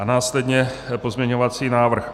A následně pozměňovací návrh